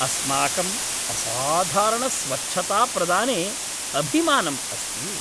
अस्माकम् असाधारणस्वच्छताप्रदाने अभिमानम् अस्ति।